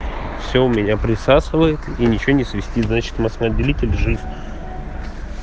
все у меня присасывает и ничего не свистит значит маслоотделитель жив